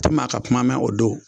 U ti maa ka kuma mɛn o don